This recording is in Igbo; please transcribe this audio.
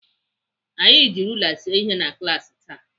Anyị ji rula see ihe na klaasị taa.